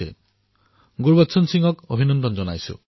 ভাই গুৰবচন সিংজীক অভিনন্দন জনাইছোঁ